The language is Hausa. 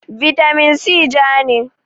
bitamin si ja ne